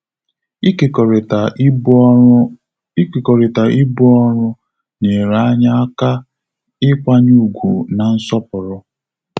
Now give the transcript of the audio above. Ikekorita ibu ọrụ Ikekorita ibu ọrụ nyere anyi aka ịkwanye ugwu na nsọpụrụ